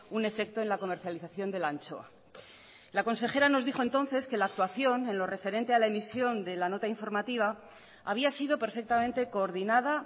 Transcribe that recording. un efecto en la comercialización de la anchoa la consejera nos dijo entonces que la actuación en lo referente a la emisión de la nota informativa había sido perfectamente coordinada